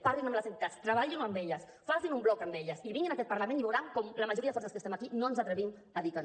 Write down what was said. parlin amb les entitats treballin ho amb elles facin un bloc amb elles i vinguin a aquest parlament i veuran com la majoria de forces que estem aquí no ens atrevim a dir que no